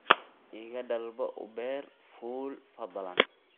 iga dalbo uber fuul fadlan